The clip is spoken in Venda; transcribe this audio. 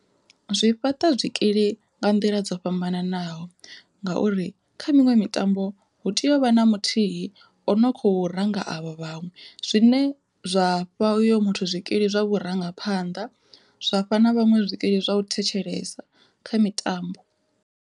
Zwi fhaṱa zwikili nga nḓila dzo fhambananaho ngauri kha miṅwe mitambo, hu tea u vha na muthihi ano kho ranga avho vhaṅwe zwine zwafha uyo muthu zwikili zwa vhurangaphanḓa zwafha na vhaṅwe zwikili zwa u thetshelesa kha mitambo.